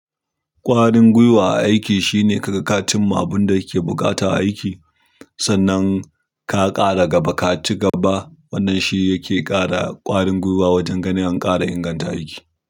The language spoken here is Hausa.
Ƙwarin guiwa a aiki shine ka ga kacin ma abun da yake buƙata aiki. Sannan ka ƙara gaba, kaci gaba. Wannan shi yake ƙara ƙwarin guiwa wajen ganin an ƙara inganta aiki.